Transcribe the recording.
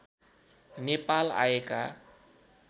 नेपाल आएका